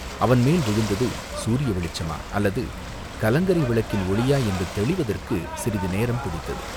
அவன் மேல் விழுந்தது சூரிய வெளிச்சமா அல்லது கலங்கரை விளக்கின் ஒளியா என்று தெளிவதற்குச் சிறிது நேரம் பிடித்தது.